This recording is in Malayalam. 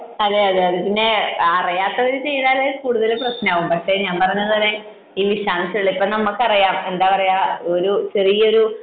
അതെയതെ പിന്നെ അറിയാത്തത് ചെയ്താൽ കൂടുതലും പ്രശ്നമാവും. പക്ഷെ ഞാൻ പറയുന്നത് ഇപ്പം നമുക്ക് അറിയാം ഒരു ചെറിയൊരു